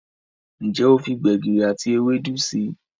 Njé o fí gbegiri àti Ewédú sí?